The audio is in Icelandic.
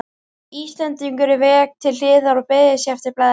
Íslendingurinn vék til hliðar og beygði sig eftir blaðinu.